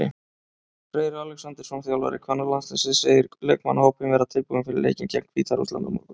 Freyr Alexandersson, þjálfari kvennalandsliðsins, segir leikmannahópinn vera tilbúinn fyrir leikinn gegn Hvíta-Rússlandi á morgun.